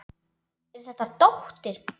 Er þetta dóttir.